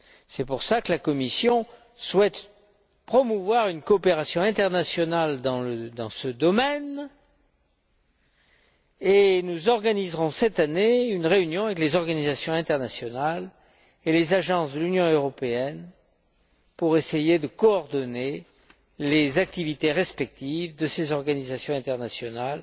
C'est pour cela que la Commission souhaite promouvoir une coopération internationale dans ce domaine et nous organiserons cette année une réunion avec les organisations internationales et les agences de l'Union européenne pour essayer de coordonner les activités respectives de ces organisations internationales